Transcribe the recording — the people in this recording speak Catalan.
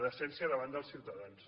decència davant els ciutadans